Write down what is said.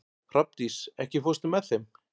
Hrafndís, ekki fórstu með þeim?